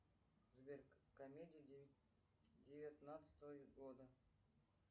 сбер комедии девятнадцатого года